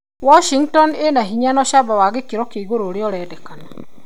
Washhngton ĩna binya na ũcamba wa gĩkiro kĩa igũrũ kĩrĩa kĩrendeka